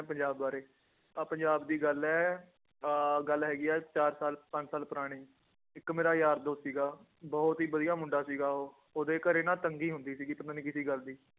ਪੰਜਾਬ ਬਾਰੇ ਆਹ ਪੰਜਾਬ ਦੀ ਗੱਲ ਹੈ ਅਹ ਗੱਲ ਹੈਗੀ ਹੈ ਚਾਰ ਸਾਲ ਪੰਜ ਸਾਲ ਪੁਰਾਣੀ, ਇੱਕ ਮੇਰਾ ਯਾਰ ਦੋਸਤ ਸੀਗਾ, ਬਹੁਤ ਹੀ ਵਧੀਆ ਮੁੰਡਾ ਸੀਗਾ ਉਹ, ਉਹਦੇ ਘਰੇ ਨਾ ਤੰਗੀ ਹੁੰਦੀ ਸੀਗੀ ਪਤਾ ਨੀ ਕਿਹਦੀ ਗੱਲ ਦੀ